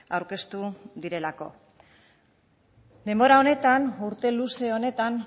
aurkeztu direlako denbora honetan urte luze honetan